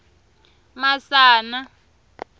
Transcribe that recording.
masana